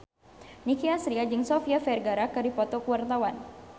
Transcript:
Nicky Astria jeung Sofia Vergara keur dipoto ku wartawan